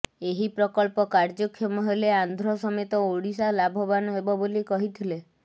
ଏହି ପ୍ରକଳ୍ପ କାର୍ଯ୍ୟକ୍ଷମ ହେଲେ ଆନ୍ଧ୍ର ସମେତ ଓଡ଼ିଶା ଲାଭବାନ ହେବ ବୋଲି କହିଥିଲେ